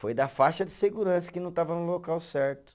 Foi da faixa de segurança que não estava no local certo.